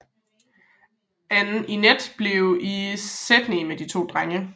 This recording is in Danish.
Ann Inett blev i Sydney med de to drenge